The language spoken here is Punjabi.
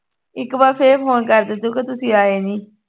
ਇੱਕ ਵਾਰ ਫੇਰ phone ਕਰਦੀ ਤੂੰ ਕਹਿ ਤੁਸੀਂ ਆਏ ਨੀ